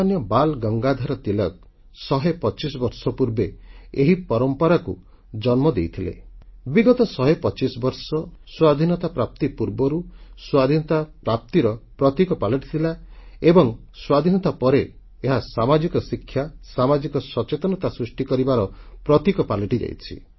ଲୋକମାନ୍ୟ ବାଲ୍ ଗଙ୍ଗାଧର ତିଲକ୍ 125 ବର୍ଷ ପୂର୍ବେ ଏହି ପରମ୍ପରାକୁ ଜନ୍ମ ଦେଇଥିଲେ ଏବଂ ବିଗତ 125 ବର୍ଷ ସ୍ୱାଧୀନତା ପ୍ରାପ୍ତି ପୂର୍ବରୁ ସ୍ୱାଧୀନତା ପ୍ରାପ୍ତିର ପ୍ରତୀକ ପାଲଟିଥିଲା ଏବଂ ସ୍ୱାଧୀନତା ପରେ ଏହା ସାମାଜିକ ଶିକ୍ଷା ସାମାଜିକ ସଚେତନତା ସୃଷ୍ଟି କରିବାର ପ୍ରତୀକ ପାଲଟିଯାଇଛନ୍ତି